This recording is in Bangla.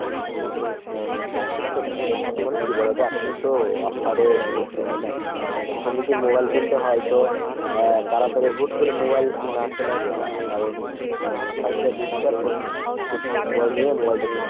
সেটা সেটা। এখন কি বলোতো এখনতো offer এ ভর্তি তাই না ? এখন যদি mobile কিনতে হয় তো আহ তাড়াতাড়ি হুট করে mobile না কেনাই better। কারণ offer যা দিচ্ছে এখন একটু সময় নিয়ে mobile টা কিনতে হবে।